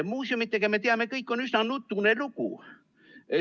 Muuseumidega, nagu me kõik teame, on üsna nutune lugu.